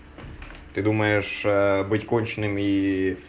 ты думаешь быть конченым и